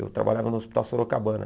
Eu trabalhava no Hospital Sorocabana.